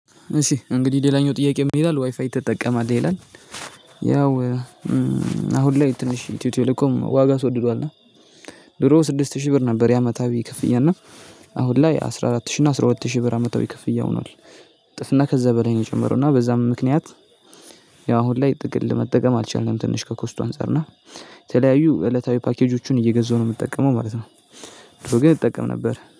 እሺ እንግዲህ ሌላኛው ጥያቄ ምን ይላል ዋይፋይ ትጠቀማለህ? ይላል ያው አሁን ላይ ትንሽ እትዮ ቴሌኮም ዋጋ አስወድዷል እና ድሮ ስድስት ሺህ ብር ነበር የአመታዊ ክፍያ እና አሁን ላይ አስራ አራት ሺህ እና አስራ ሁለት ሺህ ብር አመታዊ ክፍያ ሆኗል እጥፍና ከዛ በላይ ነው የጨመረው እና በዛም ምክንያት ያው አሁን ላይ ጥቅል ለመጠቀም አልቻልንም ትንሽ ከኮስቱ አንፃር እና የተለያዩ እለታዊ ፓኬጆቹን እየገዛሁ ነው የምትጠቀመው ማለት ነው በርግጥ እጠቀም ነበር።